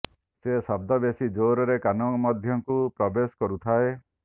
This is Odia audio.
ସେ ଶବ୍ଦ ବେଶି ଜୋରରେ କାନ ମଧ୍ୟକୁ ପ୍ରବେଶ କରୁଥାଏ